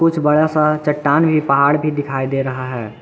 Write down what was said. कुछ बड़ा सा चट्टान भी पहाड़ भी दिखाई दे रहा है।